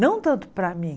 Não tanto para mim.